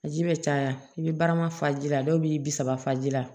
A ji bɛ caya i bɛ barama fa ji la dɔw b'i bisa fa ji la